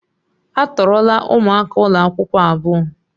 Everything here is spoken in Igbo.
A tọọrọla ụmụaka ụlọ akwụkwọ abuo.